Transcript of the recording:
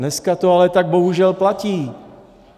Dneska to ale tak bohužel platí.